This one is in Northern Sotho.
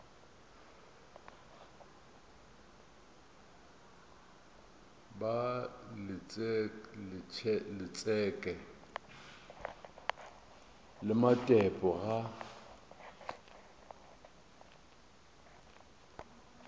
ba letšeke le matepe ga